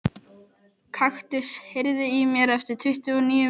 Kaktus, heyrðu í mér eftir tuttugu og níu mínútur.